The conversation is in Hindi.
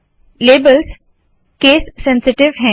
लेबल्स केस सेनसीटीव है